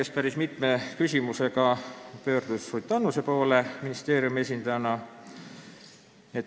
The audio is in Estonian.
Ta pöördus ministeeriumi esindaja Ruth Annuse poole päris mitme küsimusega.